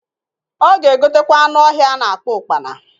Ọ ga egotekwa anụ ọhịa a na-akpọ ụkpana.